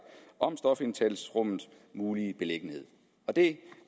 om stofindtagelsesrummets mulige beliggenhed det